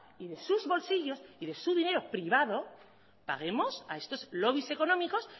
y de sus bolsillos y de su dinero privado paguemos a estos lobbys económicos